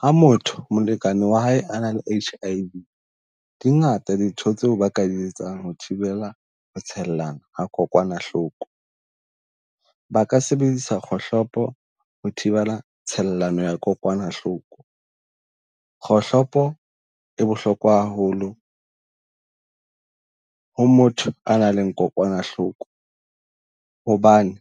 Ha motho molekane wa hae a na le H_I_V, di ngata dintho tseo ba ka di etsang ho thibela ho tshellana kokwanahloko. Ba ka sebedisa kgohlopo ho thibela tshellano ya kokwanahloko, kgohlopo e bohlokwa haholo ho motho a nang le kokwanahloko. Hobane